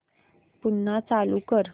पुन्हा चालू कर